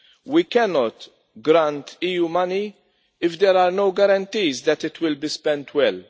We cannot grant EU money if there are no guarantees that it will be spent well.